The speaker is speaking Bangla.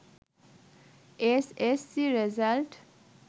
S S C result